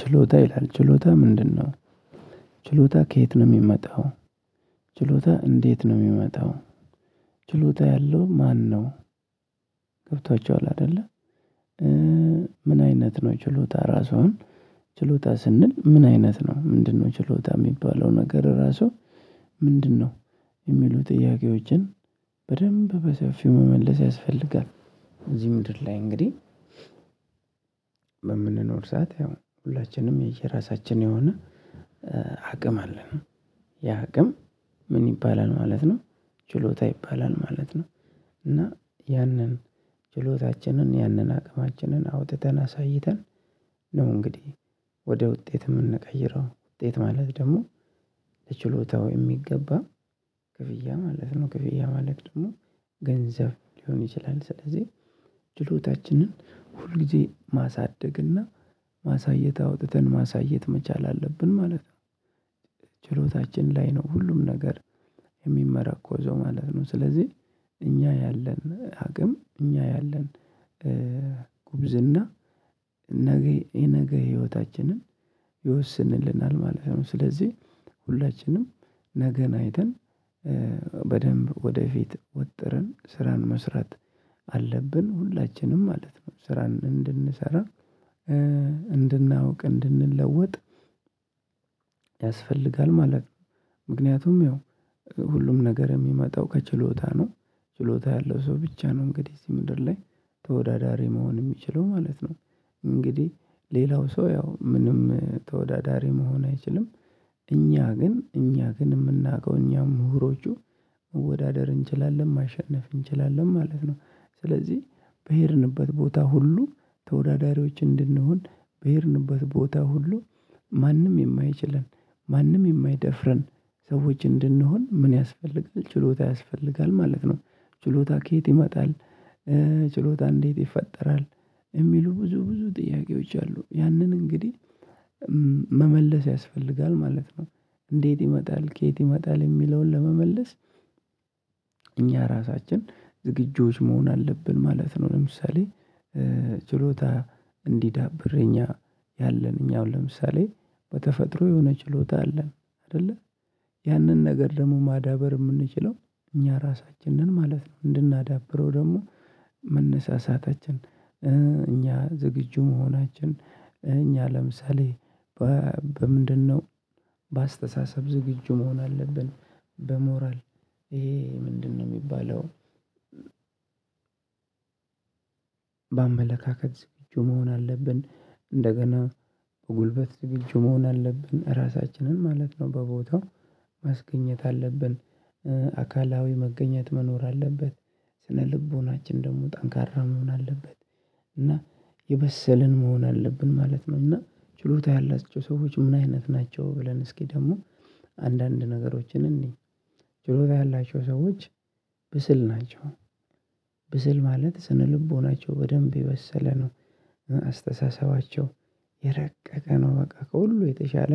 ችሎታ ይላል ችሎታ ምንድነው? ችሎታ ከየት ነው የሚመጣው? ችሎታ እንዴት ነው የሚመጣው? ችሎታ ያለው ማነው? ገብቷችዋል አይደለ? ምን አይነት ነው ችሎታ ራሱን። ችሎታ ስንል ምን አይነት ነው ምንድነው? ችሎታ የሚባለው ነገር ራሱ ምንድነው? የሚሉ ጥያቄዎችን በደንብ በሰፊው መመለስ ያስፈልጋል። እዚህ ምድር ላይ እንግዲህ በምንኖር ሰዓት ያው ሁላችንም የየራሳችን የሆነ አቅም አለን ያ አቅም ምን ይባላል ማለት ነው። ችሎታ ይባላል ማለት ነው። እና ያንን ችሎታችንን ያንን አቅማችንን አውጥተን አሳይተን ነው እንግዲህ ወደ ውጤት የምንቀይረው ውጤት ማለት ደግሞ ለችሎታው የሚገባ ክፍያ ማለት ነው። ክፍያ ማለት ደግሞ ገንዘብ ሊሆን ይችላል። ስለዚህ ድሎታችንን ሁልጊዜ ማሳደግና ማሳየት አውጥተን ማሳየት መቻል አለብን ማለት ነው። ችሎታችን ላይ ነው ሁሉም ነገር የሚመረኮዘው ማለት ነው። ስለዚህ እኛ ያለን አቅም እኛ ያለን ጉብዝና ነገ የነገ ህይወታችንን ይወስንልናል ማለት ነው። ስለዚህ ሁላችንም ነገን አይተን በደንብ ወደፊት ወጥረን ስራን መስራት አለብን ሁላችንም ማለት ነው። ስራን እንድንሰራ እንድናውቅ እንድንለውጥ ያስፈልጋል ማለት ነው። ምክንያቱም ያው ሁሉም ነገር የሚመጣው ከችሎታ ነው። ችሎታ ያለው ሰው ብቻ ነው እንግዲህ እዚህ ምድር ላይ ተወዳዳሪ መሆን የሚችለው ማለት ነው። እንግዲህ ሌላው ሰው ያው ምንም ተወዳዳሪ መሆን አይችልም። እኛ ግን እኛ ግን የምናውቀው እኛ ምሁሮቹ መወዳደር እንችላለን ማሸነፍ እንችላለን ማለት ነው። ስለዚህ በሄድንበት ቦታ ሁሉ ተወዳዳሪዎች እንድንሆን በሄድንበት ቦታ ሁሉ ማንም የማይችለን ማንም የማይደፍረን ሰዎች እንድንሆን ምን ያስፈልጋል ችሎታ ያስፈልጋል ማለት ነው። ችሎታ ከየት ይመጣል? ችሎታ እንዴት ይፈጠራል? የሚሉ ብዙ ብዙ ጥያቄዎች አሉ። ያንን እንግዲህ መመለስ ያስፈልጋል ማለት ነው። እንዴት ይመጣል ከየት ይመጣል የሚለውን ለመመለስ? እኛ ራሳችን ዝግጁዎች መሆን አለብን ማለት ነው። ለምሳሌ ችሎታ እንዲዳብር የኛ ያለን እኛው ለምሳሌ በተፈጥሮ የሆነ ችሎታ አለን አይደለ ያንን ነገር ደግሞ ማዳበር የምንችለው። እኛ ራሳችንን ማለት ነው እንድናዳብረው ደግሞ መነሳሳታችን እኛ ዝግጁ መሆናችን እኛ ለምሳሌ በምንድነው በአስተሳሰብ ዝግጁ መሆን አለብን። በሞራል ይሄ ምንድነው የሚባለው? በአመለካከት ዝግጁ መሆን አለብን እንደገና በጉልበት ዝግጁ መሆን አለብን ራሳችንን ማለት ነው በቦታው ማስገኘት አለብን። አካላዊ መገኘት መኖር አለበት። ስነልቦናችን ደግሞ ጠንካራ መሆን አለበት። እና የበሰልን መሆን አለብን ማለት ነው። እና ችሎታ ያላቸው ሰዎች ምን አይነት ናቸው ብለን እስኪ ደግሞ አንዳንድ ነገሮችን እንይ። ችሎታ ያላቸው ሰዎች ብስል ናቸው። ብስል ማለት ስነልቦናቸው በደንብ የበሰለ ነው። አስተሳሰባቸው የረቀቀ ነው። በቃ ከሁሉ የተሻለ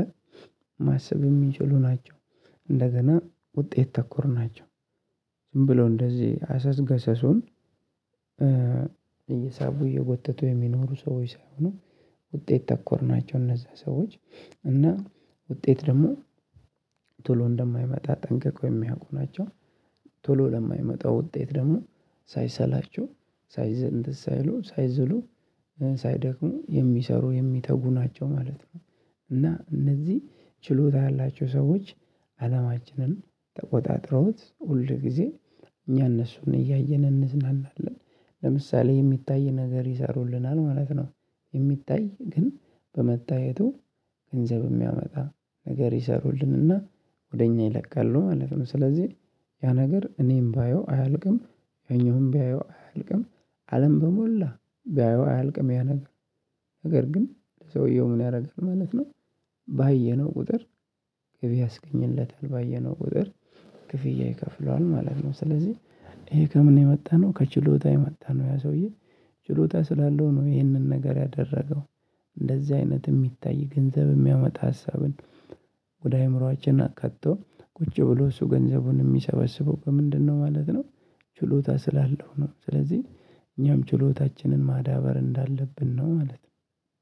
ማሰብ የሚችሉ ናቸው። እንደገና ውጤት ተኮር ናቸው። ዝም ብሎ እንደዚህ አሰስ ገሰሱን እየሳቡ እየጎተቱ የሚኖሩ ሰዎች ሳይሆኑ ውጤት ተኮር ናቸው እነዛ ሰዎች እና ውጤት ደግሞ ቶሎ እንደማይመጣ ጠንቅቆ የሚያውቁ ናቸው። ቶሎ ለማይመጣው ውጤት ደግሞ ሳይሰላቹ ሳይዝ እንትን ሳይሉ ሳይዝሉ ሳይደክሙ የሚሰሩ የሚተጉ ናቸው ማለት ነው። እና እነዚህ ችሎታ ያላቸው ሰዎች አለማችንን ተቆጣጥረውት ሁል ጊዜ እኛ እነሱን እያየን እንዝናናለን ለምሳሌ የሚታይ ነገር ይሰሩልናል ማለት ነው። የሚታይ ግን በመታየቱ ገንዘብ የሚያመጣ ነገር ይሰሩልን እና ወደ እኛ ይለቃሉ ማለት ነው። ስለዚህ ያ ነገር እኔም ባየው አያልቅም። ያኛውም ቢያየው አያልቅም። አለም በሞላ ቢያየው አያልቅም ያ ነገር ነገር ግን ሰውየው ምን ያደርጋል ማለት ነው። ባየነው ቁጥር ገቢ ያስገኝለታል ባየነው ቁጥር ክፍያ ይከፍለዋል ማለት ነው። ስለዚህ ይሄ ከምን የመጣነው ከችሎታ የመጣነው ያ ሰውዬ ችሎታ ስላለው ነው። ይህንን ነገር ያደረገው እንደዚህ አይነት የሚታይ ገንዘብ የሚያመጣ ሀሳብን ወደ አይምሮአችን አካቶ ቁጭ ብሎ እሱ ገንዘቡን የሚሰበስበው በምንድነው ማለት ነው። ችሎታ ስላለው ነው። ስለዚህ እኛም ችሎታችንን ማዳበር እንዳለብን ነው ማለት ነው።